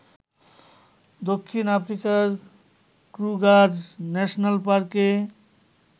দক্ষিণ আফ্রিকার Kruger national পার্কে